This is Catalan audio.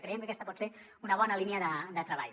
creiem que aquesta pot ser una bona línia de treball